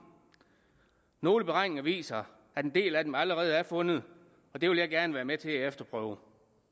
nogle beregninger viser at en del af dem allerede er fundet og det vil jeg gerne være med til at efterprøve